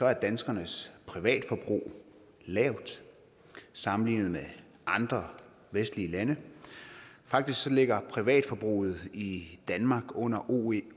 er danskernes privatforbrug lavt sammenlignet med andre vestlige lande faktisk ligger privatforbruget i danmark under oecd